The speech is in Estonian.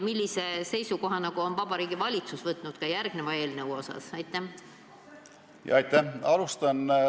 Millise seisukoha on Vabariigi Valitsus võtnud järgmise eelnõu kohta?